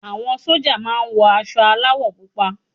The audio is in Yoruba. Àwọn sójà máa wọ aṣọ aláwọ̀ púpọ̀